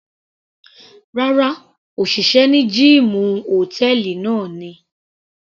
Rárá, òṣìṣẹ́ ní gíìmù hòtẹ́ẹ̀lì náà ni.